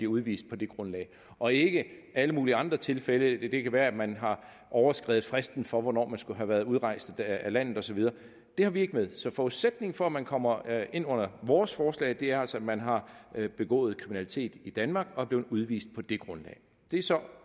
udvist på det grundlag og ikke i alle mulige andre tilfælde det kan være at man har overskredet fristen for hvornår man skulle have været udrejst af landet og så videre det har vi ikke med så forudsætningen for at man kommer ind under vores forslag er altså at man har begået kriminalitet i danmark og er blevet udvist på det grundlag det er så